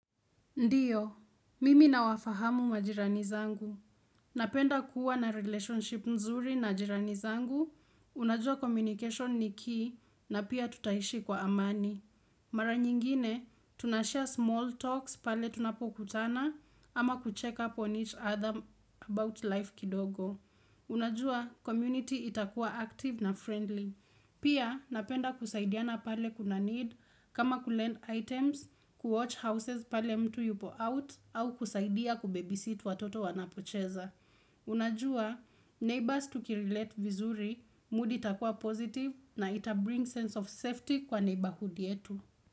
Ndio, mimi nawafahamu majirani zangu. Napenda kuwa na relationship nzuri na majirani zangu, unajua communication ni key na pia tutaishi kwa amani. Mara nyingine, tunashare small talks pale tunapokutana ama kucheck up on each other about life kidogo. Unajua, community itakuwa active na friendly. Pia, napenda kusaidiana pale kuna need, kama kulend items, kuwatch houses pale mtu yupo out au kusaidia kubabysit watoto wanapocheza. Unajua, neighbors tukirelate vizuri, mood itakuwa positive na itabring sense of safety kwa neighborhood yetu.